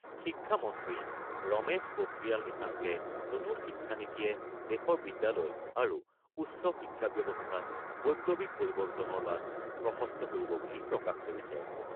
শিক্ষা মন্ত্ৰী ৰমেশ পোখৰিয়াল নিশাংকে নতুন শিক্ষানীতিয়ে দেশৰ বিদ্যালয় আৰু উচ্চ শিক্ষা ব্যৱস্থাত বৈপ্লৱিক পৰিৱৰ্তনৰ বাট প্ৰশস্ত কৰিব বুলি প্ৰকাশ কৰিছে।